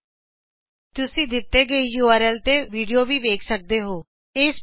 ਤੁਸੀ URL httpspoken tutorialorgwhat IS spoken tutorial ਉਤੇ video ਵੀ ਵੇਖ ਸਕਦੇ ਹੋ